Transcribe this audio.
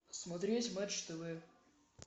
смотреть матч тв